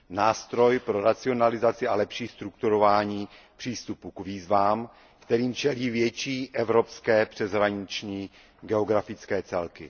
Nástroj pro racionalizaci a lepší strukturování přístupu k výzvám, kterým čelí větší evropské přeshraniční geografické celky.